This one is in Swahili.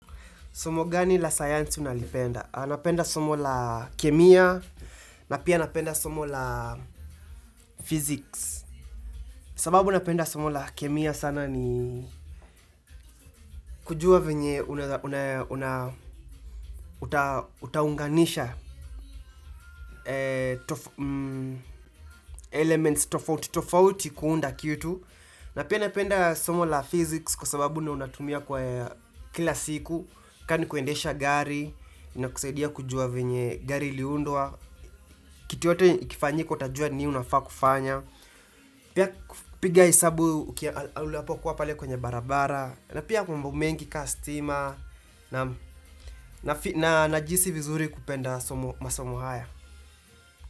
Somo gani la science unalipenda, anapenda somo la kemia, na pia napenda somo la physics, sababu napenda somo la kemia sana ni kujua venye utaunganisha elements tofauti tofauti kuunda kitu, na pia napenda somo la physics kwa sababu ndio natumia kwa kila siku, kaa kuendesha gari, na kusaidia kujua venye gari iliundwa, kitu yote ikifanyika utajua nini unafaa kufanya. Pia piga hesabu unapokuwa pale kwenye barabara. Na pia mambo mengi ka stima. Najihisi vizuri kupenda masomo haya.